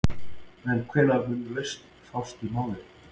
En hvenær mun lausn fást í málið?